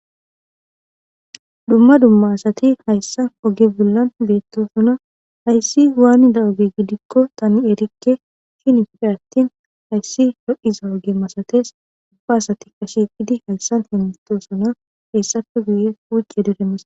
dumma dumma asati hayssan oge bullan beettosuna hayssi waani da oge gidikko tani erikke shinifire attin hayssi ro7iza oge masates ubba asati ka shiipidi hayssan hemmitosuna hayssafe guye wucce deremmas